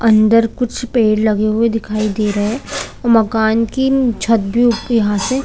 अंदर कुछ पेड़ लगे हुए दिखाई दे रहे मकान की छत भी उप यहाँ से--